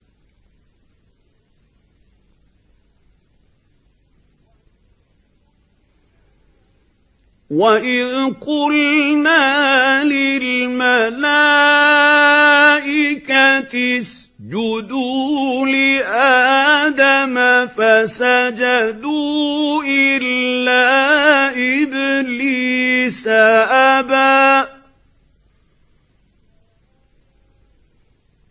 وَإِذْ قُلْنَا لِلْمَلَائِكَةِ اسْجُدُوا لِآدَمَ فَسَجَدُوا إِلَّا إِبْلِيسَ أَبَىٰ